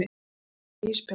Bað um íspinna.